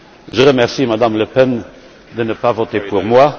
Je remercie Mme Le Pen de ne pas voter pour moi.